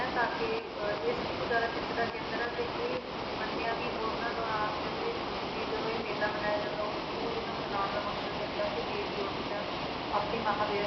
ਹੈ ਤਾਂ ਕਿ ਅਹ ਇਹ ਸਭ ਤੋਂ ਜ਼ਿਆਦਾ ਖਿੱਚ ਦਾ ਕੇਂਦਰ ਆ ਤੇ ਇਹ ਮੰਨਿਆ ਵੀ ਉਹਨਾਂ ਦੌਰਾਨ ਕਹਿੰਦੇ ਵੀ ਜਦੋਂ ਇਹ ਮੇਲਾ ਮਨਾਇਆ ਜਾਂਦਾ ਉਹ ਉਹਦਾ ਮਨਾਉਣ ਦਾ ਮਕਸਦ ਇਹ ਹੁੰਦਾ ਹੈ ਕਿ ਦੇਵੀ ਉਸ time ਆਪਣੀ ਮਹਾਂਮਾਰੀ